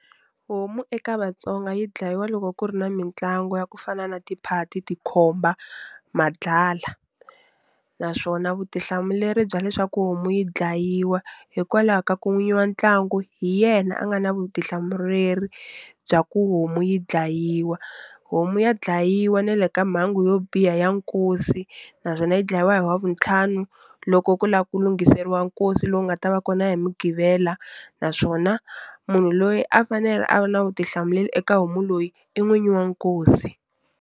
Homu eka Vatsonga yi dlayiwa loko ku ri na mitlangu ya ku fana na tiphati, tikhoba, madlala naswona vutihlamuleri bya leswaku homu yi dlayiwa hikwalaho ka ku n'winyi wa ntlangu hi yena a nga na vutihlamureri bya ku homu yi dlayiwa. Homu ya dlayiwa na le ka mhangu yo biha ya nkosi naswona yi dlayiwa hi wavuntlhanu loko ku lava ku lunghiseriwa nkosi lowu nga ta va kona hi mugqivela naswona munhu loyi a fanele a va na vutihlamuleri eka homu loyi i n'winyi wa nkosi.